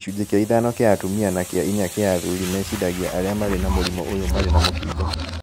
Gĩcunjĩ kĩa ithano kĩa atumia na kĩa inya kĩa athuri meciragia arĩa marĩ na mũrimũ ũyũ marĩ na mũkingo